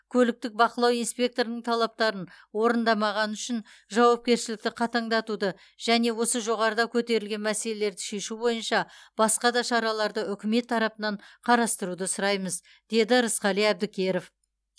көліктік бақылау инспекторының талаптарын орындамағаны үшін жауапкершілікті қатаңдатуды және осы жоғарыда көтерілген мәселелерді шешу бойынша басқа да шараларды үкімет тарапынан қарастыруды сұраймыз деді рысқали әбдікеров